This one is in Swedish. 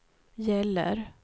gäller